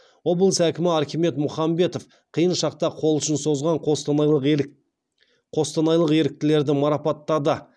облыс әкімі архимед мұхамбетов қиын шақта қол ұшын созған қостанайлық еріктілерді марапаттады